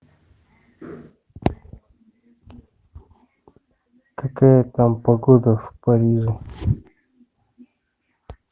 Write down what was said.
какая там погода в париже